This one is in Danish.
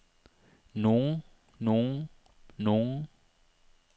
nogen nogen nogen